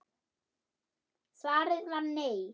Svarið var nei.